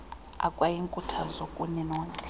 ekwayinkuthazo kuni nonke